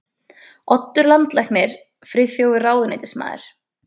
Oddur landlæknir, Friðþjófur ráðuneytismaður